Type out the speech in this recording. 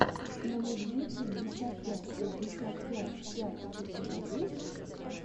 номэдюпятьдесятпятьпятьдесяпятьпять у тебя есть